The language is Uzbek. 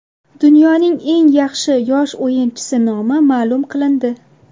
Dunyoning eng yaxshi yosh o‘yinchisi nomi ma’lum qilindi.